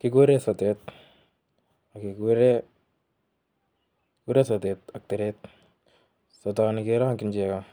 Kiguuren sotet ak keguuren teret, sotonii kerongyii chegoo